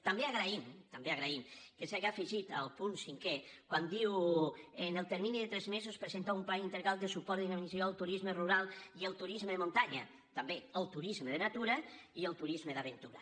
també agraïm també agraïm que s’haja afegit al punt cinquè quan diu en el termini de tres mesos presentar un pla integral de suport i dinamització del turisme rural i el turisme de muntanya també el tu·risme de natura i el turisme d’aventura